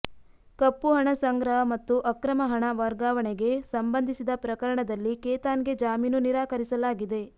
ಕಪ್ಪು ಹಣ ಸಂಗ್ರಹ ಮತ್ತು ಅಕ್ರಮ ಹಣ ವರ್ಗಾವಣೆಗೆ ಸಂಬಂಧಿಸಿದ ಪ್ರಕರಣದಲ್ಲಿ ಕೇತಾನ್ಗೆ ಜಾಮೀನು ನಿರಾಕರಿಸಲಾಗಿದೆ